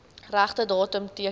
regte datum teken